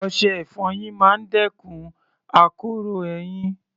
Ọṣẹ-ìfọyín máa ń dẹ́kun akoro eyín